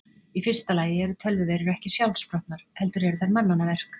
Í fyrsta lagi eru tölvuveirur ekki sjálfsprottnar heldur eru þær mannanna verk.